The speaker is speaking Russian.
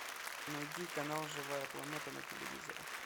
найди канал живая планета на телевизоре